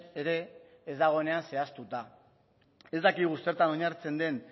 ere ez dagoenean zehaztuta ez dakigu zertan oinarritzen den